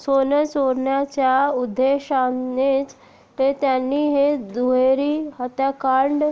सोनं चोरण्याच्या उद्देशानेच त्यांनी हे दुहेरी हत्याकांड